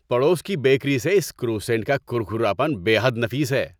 پڑوس کی بیکری سے اس کروسینٹ کا کرکراپن بے حد نفیس ہے۔